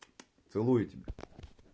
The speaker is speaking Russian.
целую тебя